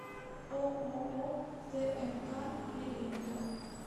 ооо тмк периметр